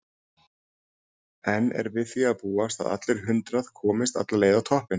En er við því að búast að allir hundrað komist alla leið á toppinn?